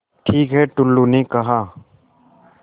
ठीक है टुल्लु ने कहा